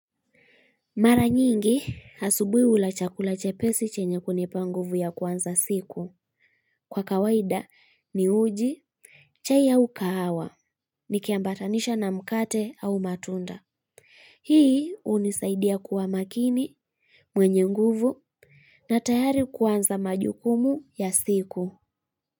Mara nyingi, asubuhi hula chakula chepesi chenye kunipa nguvu ya kuanza siku. Kwa kawaida ni uji, chai ya ukahawa, nikiambatanisha na mkate au matunda. Hii hunisaidia kuwa makini, mwenye nguvu, na tayari kuanza majukumu ya siku.